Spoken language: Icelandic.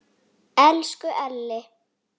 Elsku Elli.